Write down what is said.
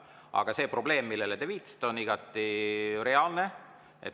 Aga see probleem, millele te viitasite, on igati reaalne.